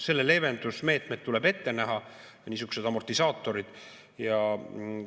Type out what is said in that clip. Selle leevendamise meetmed, niisugused amortisaatorid tuleb ette näha.